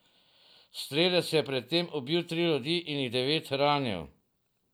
Strelec je pred tem ubil tri ljudi in jih devet ranil.